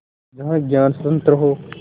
जहाँ ज्ञान स्वतन्त्र हो